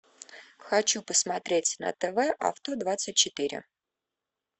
хочу посмотреть на тв авто двадцать четыре